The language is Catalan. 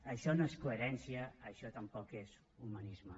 això no és coherència això tampoc és humanisme